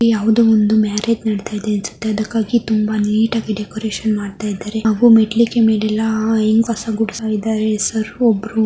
ಯಾವುದೋ ಒಂದು ಮ್ಯಾರೇಜ್ ನಡಿತಾ ಇದೆ ಅನ್ಸುತ್ತೆ ಅದಕ್ಕಾಗಿ ತುಂಬಾ ನೀಟಾಗಿ ಡೆಕೋರೇಷನ್ ಮಾಡ್ತಾಇದ್ದಾರೆ ಹಾಗೂ ಮೆಟ್ಟಲಿಗೆ ಮೇಲೆಲ್ಲಾ ಆ ಹೆಂಗ್ಸು ಕಸ ಗುಡಿಸುತ್ತಾ ಇದ್ದಾರೆ --